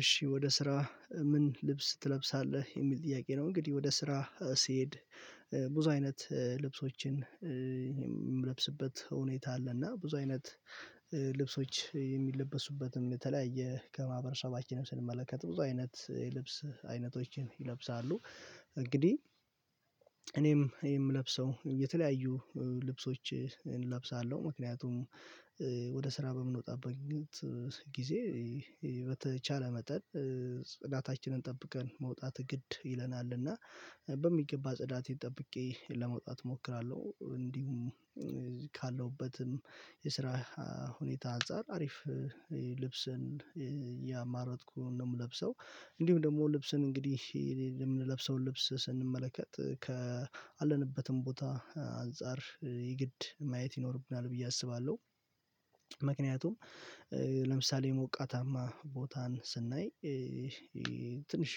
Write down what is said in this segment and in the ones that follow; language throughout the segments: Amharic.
እሺ ወደ ስራ ምን ልብስ ትለብሳለህ የሚል ጥያቄ ነው? እንግዲህ ወደ ስራ ስሄድ ብዙ አይነት ልብሶችን የምለብስበት ሁኔታ አለ። እና ብዙ አይነት ልብሶች የሚለበሱበትን የተለያየ ከማህበረሰባችንም ስንመለከት ብዙ አይነት የልብስ አይነቶችን ይለብሳሉ። እንግዲህ እኔም የምለብሰው የተለያዩ ልብሶችን እንለብሳለው ምክንያቱም ወደ ስራ በምንወጣበት ጊዜ በተቻለ መጠን ጽዳታችንን ጠብቀን መውጣት ግድ ይለናልና በሚገባ ጽዳቴን ጠብቄ ለመውጣት እሞክራለሁ። እንዲሁም ካለሁበትም የስራ ሁኔታ አንፃር አሪፍ ልብስን ያማረጥኩን ነው የምለብሰው። እንዲሁ ደግሞ ልብስን እንግዲህ የምንለብሰውን ልብስ ስንመለከት ካለንበትም ቦታ አንፃር የግድ ማየት ይኖርብናል ብዬ አስባለሁ። ምክንያቱም ለምሳሌ ሞቃታማ ቦታን ስናይ ትንሽ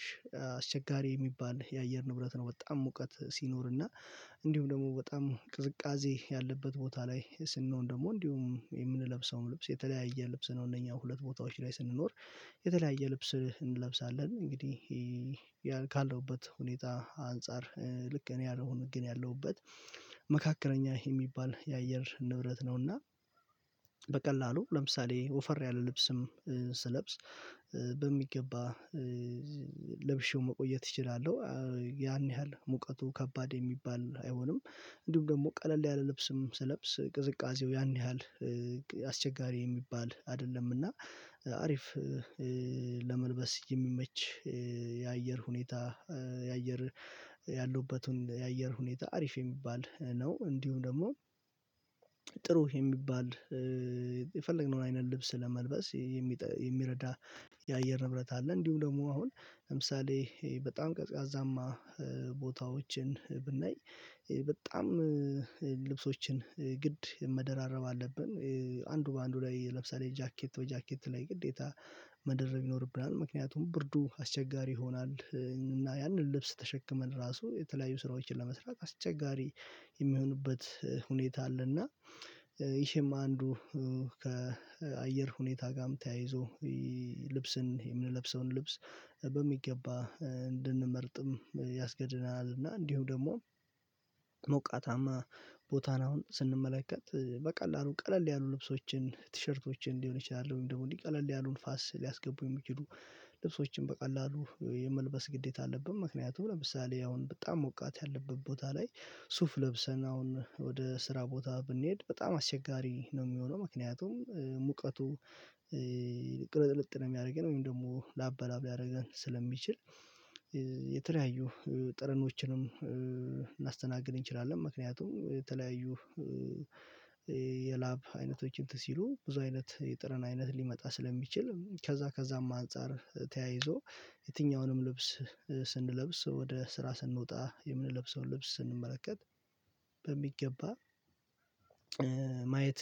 አስቸጋሪ የሚባል የአየር ንብረት ነው። በጣም ሙቀት ሲኖርና እንዲሁም ደግሞ በጣም ቅዝቃዜ ያለበት ቦታ ላይ ስንኖር ደግሞ እንዲሁም የምንለብሰውን ልብስ የተለያየ ልብስ ነው እነኛ ሁለት ቦታዎች ላይ ስንኖር የተለያየ ልብስ እንለብሳለን። እንግዲህ ያ አለሁበት ሁኔታ አንፃር ልክ እኔ ያለው ግን ያለሁበት መካከለኛ የሚባል የአየር ንብረት ነው። እና በቀላሉ ለምሳሌ ወፈር ያለ ልብስም ስለብስ ለብሼው መቆየት እችላለሁ። ያን ያህል ሙቀቱ ከባድ የሚባል አይሆንም እንዲሁም ደግሞ ቀለል ያለ ልብስም ስለብስ ቅዝቃዜው ያን ያህል አስቸጋሪ የሚባል አይደለም። እና አሪፍ ለመልበስ የሚመች የአየር ሁኔታ የአየር ያሉበትን የአየር ሁኔታ አሪፍ የሚባል ነው። እንዲሁም ደግሞ ጥሩ የሚባል የፈለግነውን አይነት ልብስ ለመልበስ የሚረዳ የአየር ንብረት አለ። እንዲሁም ደግሞ አሁን ለምሳሌ በጣም ቀዝቃዛማ ቦታዎችን ብናይ በጣም ልብሶችን ግድ መደራረብ አለብን አንዱ በአንዱ ላይ ለብሰህ ጃኬት በጃኬት ላይ ግዴታ መደረብ ይኖርብናል ምክንያቱም ብርዱ አስቸጋሪ ይሆናል። እና ያንን ልብስ ተሸክመን ራሱ የተለያዩ ስራዎችን ለመስራት አስቸጋሪ የሚሆንበት ሁኔታ አለና ይሄም አንዱ ከአየር ሁኔታ ጋርም ተያይዞ ልብስን የምንለብሰውን ልብስ በሚገባ እንድንመርጥም ያስገድናል። እና እንዲሁ ደግሞ ሞቃታማ ቦታን አሁን ስንመለከት በቀላሉ ቀለል ያሉ ልብሶችን ቲሸርቶችን እንዲሆን ይችላል ወይም ደግሞ እንዲቀለል ያሉ ንፋስ ሊያስገቡ የሚችሉ ልብሶችን በቀላሉ የመልበስ ግዴታ አለብን። ምክንያቱም ለምሳሌ አሁን በጣም ሞቃት ያለበት ቦታ ላይ ሱፍ ለብሰን አሁን ወደ ስራ ቦታ ብንሄድ በጣም አሸጋሪ ነው የሚሆነው ምክንያቱም ሙቀቱ ቅልጥልጥ ነው የሚያደርገን ወይም ደግሞ ላብላብ ሊያደረገን ስለሚችል የተለያዩ ጥረኖችንም እናስተናግድ እንችላለን። ምክንያቱም የተለያዩ የላብ አይነቶችን አንትን ሲሉ ብዙ አይነት የጥረን አይነት ሊመጣ ስለሚችል ከዛ ከዛም አንፃር ተያይዞ የትኛውንም ልብስ ስንለብስ ወደ ስራ ስንወጣ የምንለብሰውን ልብስ ስንመለከት በሚገባ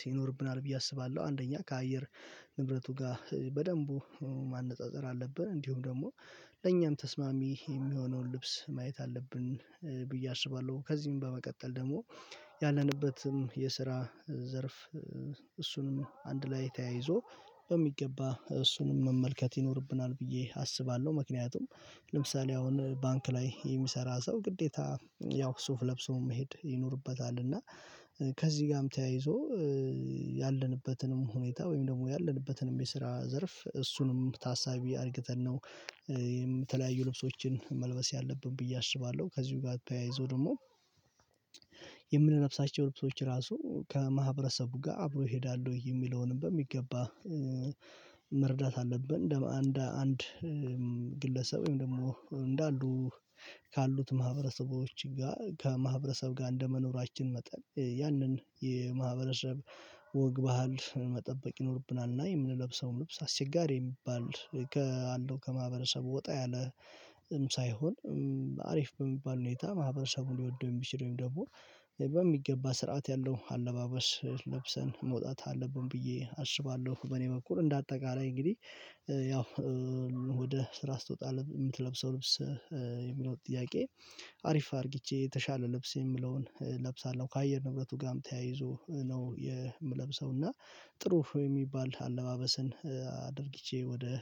ይኖርብናል ብዬ አስባለሁ። አንደኛ ከአየር ንብረቱ ጋር በደንቡ ማነፃፀር አለብን እንዲሁም ደግሞ ለእኛም ተስማሚ የሚሆነውን ልብስ ማየት አለብን ብዬ አስባለሁ። ከዚህም በመቀጠል ደግሞ ያለንበትም የስራ ዘርፍ እሱንም አንድ ላይ ተያይዞ በሚገባ እሱንም መመልከት ይኖርብናል ብዬ አስባለሁ ምክንያቱም ለምሳሌ አሁን ባንክ ላይ የሚሰራ ሰው ግዴታ ያው ሱፍ ለብሶ መሄድ ይኖርበታል። እና ከዚህ ጋርም ተያይዞ ያለንበትንም ሁኔታ ወይም ደግሞ ያለንበትንም የስራ ዘርፍ እሱንም ታሳቢ አድርገን ነው የምትለያዩ ልብሶችን መልበስ ያለብን ብዬ አስባለሁ። ከዚህ ጋር ተያይዞ ደግሞ የምንለብሳቸው ልብሶች ራሱ ከማህበረሰቡ ጋር አብሮ ይሄዳል ወይ የሚለውንም በሚገባ መርዳት አለብን አንድ አንድ ግለሰብ ወይም ደግሞ እንዳሉ ካሉት ማህበረሰቦች ጋር ከማህበረሰብ ጋር እንደመኖራችን መጠን ያንን የማህበረሰብ ወግ ባህል መጠበቅ ይኖርብናል። እና የምንለብሰውን ልብስ አስቸጋሪ የሚባል ከአለው ከማህበረሰቡ ወጣ ያለም ሳይሆን አሪፍ በሚባል ሁኔታ ማህበረሰቡን ሊወደው የሚችለው ደግሞ በሚገባ ስርዓት ያለው አለባበስ ለብሰን መውጣት አለብን ብዬ አስባለሁ። በኔ በኩል እንደ አጠቃላይ እንግዲህ ያው ወደ ስራ ስትወጣ የምትለብሰው ልብስ የሚለው ጥያቄ አሪፍ አድርጊቼ የተሻለ ልብስ የሚለውን እለብሳለሁ ከአየር ንብረቱ ጋርም ተያይዞ ነው የምለብሰው። እና ጥሩ ወይ የሚባል አለባበስን አድርጊቼ ወደ